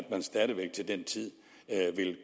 man stadig væk til den tid